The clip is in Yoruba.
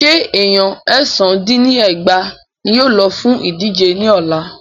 Ṣé Èèyan èsán dín ní ẹgbàá ní yóò lọ fún ìdíje ní ọ̀la?